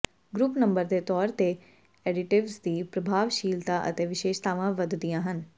group number ਦੇ ਤੌਰ ਤੇ ਐਡਿਟਿਵਜ਼ ਦੀ ਪ੍ਰਭਾਵਸ਼ੀਲਤਾ ਅਤੇ ਵਿਸ਼ੇਸ਼ਤਾਵਾਂ ਵਧਦੀਆਂ ਹਨ